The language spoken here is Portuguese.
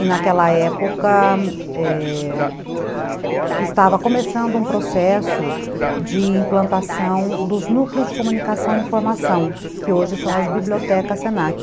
E naquela época, é, estava começando um processo de implantação dos núcleos de comunicação e informação, que hoje são as bibliotecas se na que